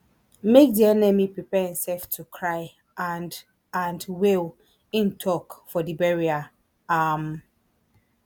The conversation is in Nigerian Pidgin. make di enemy prepare imsef to cry and and wail im tok for di burial um